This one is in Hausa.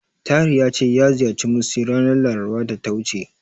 Tahir ya ce ya ziyarci Musty ranar Larabar da ta wuce.